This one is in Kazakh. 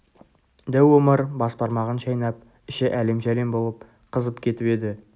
дәу омар бас бармағын шайнап іші әлем-жәлем болып қызып кетіп еді